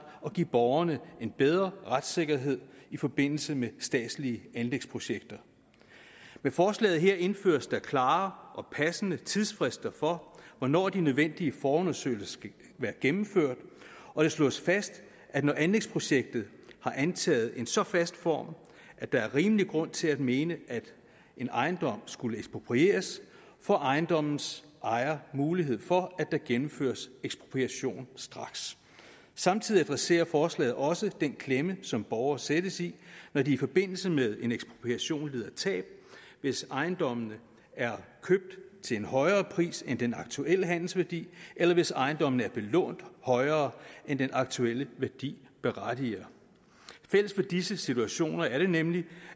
og give borgerne en bedre retssikkerhed i forbindelse med de statslige anlægsprojekter med forslaget her indføres der klare og passende tidsfrister for hvornår de nødvendige forundersøgelser skal være gennemført og det slås fast at når anlægsprojektet har antaget en så fast form at der er rimelig grund til at mene at en ejendom skulle eksproprieres får ejendommens ejer mulighed for at der gennemføres ekspropriation straks samtidig adresserer forslaget også den klemme som borgere sættes i når de i forbindelse med en ekspropriation lider tab hvis ejendommene er købt til en højere pris end den aktuelle handelsværdi eller hvis ejendommene er belånt højere end den aktuelle værdi berettiger fælles for disse situationer er det nemlig